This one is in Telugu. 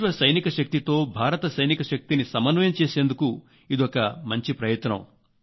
విశ్వ సైనిక శక్తితో భారత సైనిక శక్తిని సమన్వయం చేసేందుకు ఇదొక ప్రయత్నం